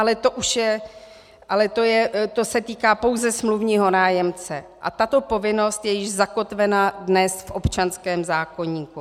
Ale to se týká pouze smluvního nájemce a tato povinnost je již zakotvena dnes v občanském zákoníku.